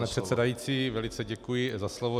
Pane předsedající, velice děkuji za slovo.